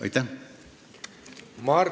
Aitäh!